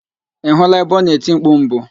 Ị hụla ebe ọ na-eti mpku mbụ?